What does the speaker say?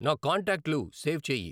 నా కాంటాక్ట్లు సేవ్ చేయి